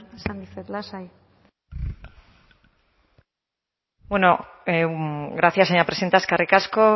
esan dizuet lasai bueno gracias señora presidenta eskerrik asko